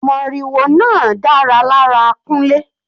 Moriwo náà dára lára Kunle.